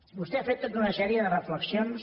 vostè ha fet tota una sèrie de reflexions